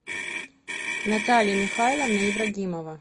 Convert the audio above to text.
наталья михайловна ибрагимова